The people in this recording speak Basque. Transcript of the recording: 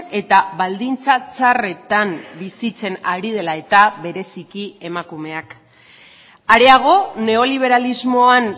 eta baldintza txarretan bizitzen ari dela eta bereziki emakumeak areago neoliberalismoan